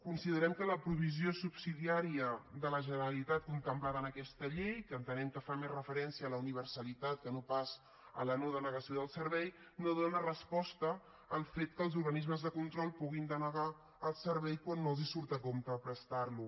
considerem que la provisió subsidiària de la generalitat contemplada en aquesta llei que entenem que fa més referència a la universalitat que no pas a la no denegació del servei no dóna resposta al fet que els organismes de control puguin denegar el servei quan no els surt a compte prestar lo